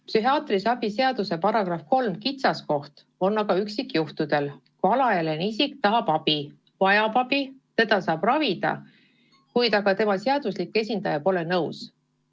Psühhiaatrilise abi seaduse § 3 kitsaskoht avaldub aga üksikjuhtudel, kui alaealine isik tahab abi, vajab abi ja teda saab ravida, kuid tema seaduslik esindaja ei ole sellega nõus.